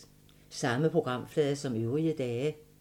Samme programflade som øvrige dage